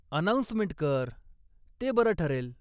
Announcement कर, ते बरं ठरेल.